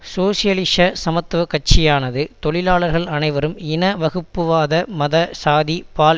சோசியலிச சமத்துவ கட்சியானது தொழிலாளர்கள் அனைவரும் இன வகுப்புவாத மத சாதி பால்